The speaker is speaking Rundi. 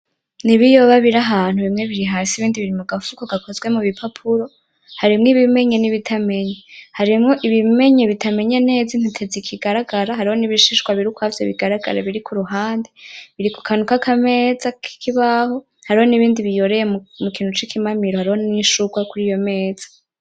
N'ibiyoba biri ahantu bimwe biri hasi ibindi biri mugafuko gakozwe mubipapuro, harimwo ibimenye nibitamenye harimwo ibimenye bitamenye neza intete zikigaragara, hariho ibishishwa biri ukwavyo bigaragara biri kuruhande biri kukantu kameze nkakameza nk'ikibaho hariho n'ibindi biyoreye mukintu cikimamiro, hariho nishurwe kuriyo meza.